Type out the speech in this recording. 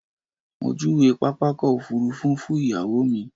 Mo júwe pápákọ̀ òfurufú fún ìyàwó mi.